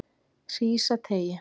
Hrísateigi